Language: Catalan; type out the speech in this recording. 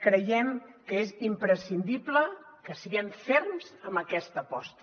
creiem que és imprescindible que siguem ferms en aquesta aposta